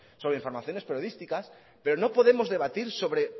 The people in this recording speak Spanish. sobre informaciones periodísticas pero no podemos debatir sobre